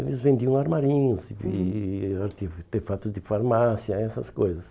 Eles vendiam armarinhos, e arte artefatos de farmácia, essas coisas.